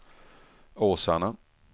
Åsarna